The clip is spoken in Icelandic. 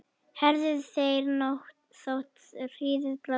heyrðu þeir þótt hríðin blási